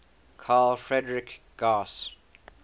carl friedrich gauss